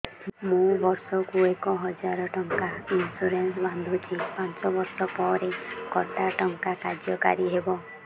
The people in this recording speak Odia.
ମୁ ବର୍ଷ କୁ ଏକ ହଜାରେ ଟଙ୍କା ଇନ୍ସୁରେନ୍ସ ବାନ୍ଧୁଛି ପାଞ୍ଚ ବର୍ଷ ପରେ କଟା ଟଙ୍କା କାର୍ଯ୍ୟ କାରି ହେବ